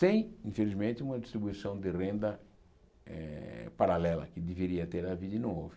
Sem, infelizmente, uma distribuição de renda eh paralela, que deveria ter havido e não houve.